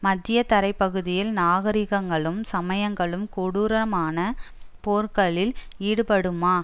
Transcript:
மத்தியதரைப் பகுதியில் நாகரிகங்களும் சமயங்களும் கொடூரமான போர்களில் ஈடுபடுமா